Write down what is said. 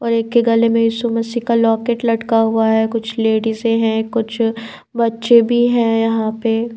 और एक के गले में यीशु मसीह का लॉकेट लटका हुआ है कुछ लेडीसे हैं कुछ बच्चे भी हैं यहां पे--